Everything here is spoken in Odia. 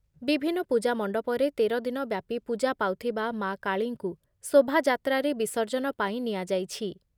ବିଭିନ୍ନ ପୂଜା ମଣ୍ଡପରେ ତେର ଦିନ ବ୍ୟାପୀ ପୂଜା ପାଉଥିବା ମା’ କାଳୀଙ୍କୁ ଶୋଭାଯାତ୍ରାରେ ବିସର୍ଜନ ପାଇଁ ନିଆଯାଇଛି ।